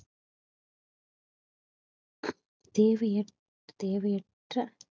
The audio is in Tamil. தேவைய~ தேவையற்ற